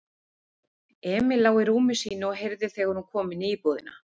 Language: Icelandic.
Emil lá í rúmi sínu og heyrði þegar hún kom inní íbúðina.